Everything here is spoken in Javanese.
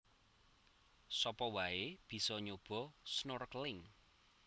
Sapa wae bisa nyoba snorkeling